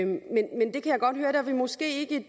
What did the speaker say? vi måske ikke